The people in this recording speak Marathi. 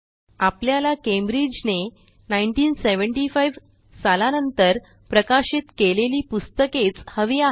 आपल्याला Cambridgeने 1975सालानंतर प्रकाशित केलेली पुस्तकेच हवी आहेत